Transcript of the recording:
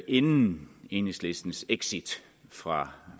inden enhedslistens exit fra